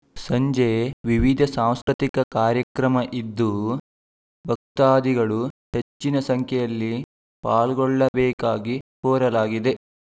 ಸಂಜೆ ವಿವಿಧ ಸಾಂಸ್ಕೃತಿಕ ಕಾರ್ಯಕ್ರಮ ಇದ್ದು ಭಕ್ತಾದಿಗಳು ಹೆಚ್ಚಿನ ಸಂಖ್ಯೆಯಲ್ಲಿ ಪಾಲ್ಗೊಳ್ಳಬೇಕಾಗಿ ಕೋರಲಾಗಿದೆ